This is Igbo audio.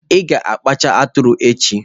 Ị ga-akpacha atụrụ echi.